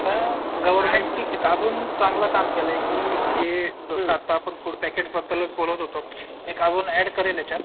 आता गव्हर्नमेंटनी चांगलं काम केलंय की म्हणजे जो आता आपण फूड पॅकेट बद्दलच बोलत होतो. ते ऍड करेल याच्यात.